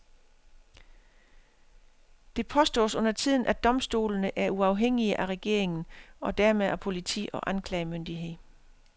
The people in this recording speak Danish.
Det påstås undertiden at domstolene er uafhængige af regeringen, og dermed af politi og anklagemyndighed.